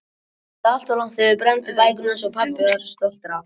En þið genguð of langt þegar þið brennduð bækurnar sem pabbi var svo stoltur af.